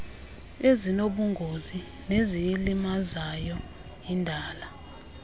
ezinobungozi neziyilimazayo indalo